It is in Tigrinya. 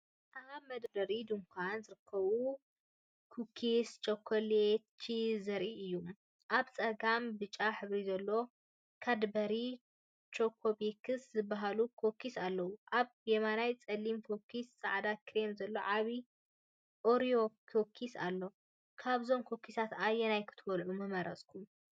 ኣብ መደርደሪ ድኳን ዝርከቡ ኩኪስ ቸኮሌት ቺፕ ዘርኢ እዩ። ኣብ ጸጋም ብጫ ሕብሪ ዘለዎም “ካድበሪ ቾኮቤክስ” ዝበሃሉ ኩኪስ ኣለዉ። ኣብ የማን ጸሊም ኩኪስን ጻዕዳ ክሬምን ዘለዎ ዓቢ “ኦሪዮ” ኩኪስ ኣሎ። ካብዞም ኩኪሳት ኣየናይ ክትበልዑ ምመረጽኩም?